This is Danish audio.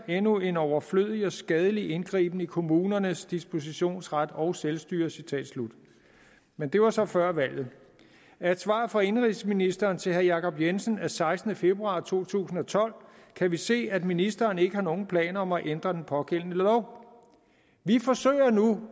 endnu en overflødig og skadelig indgriben i kommunernes dispositionsret og selvstyre men det var så før valget af et svar fra indenrigsministeren til herre jacob jensen af sekstende februar to tusind og tolv kan vi se at ministeren ikke har nogen planer om at ændre den pågældende lov vi forsøger